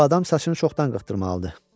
Bu adam saçını çoxdan qırxdırmalıdı.